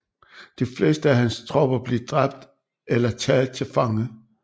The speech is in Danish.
De fleste af hans tropper blev dræbt eller taget til fange